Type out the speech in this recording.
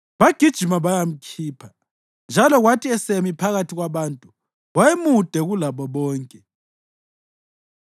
Bagijima bayamkhipha, njalo kwathi esemi phakathi kwabantu, wayemude kulabo bonke.